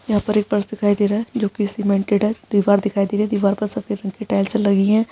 यहाँ पर एक फर्श दिखाई दे रहा है जो की सीमेंटेड है दीवार दिखाई दे रही है दीवार पर सफेद रंग की टाइल्से लगी हैं।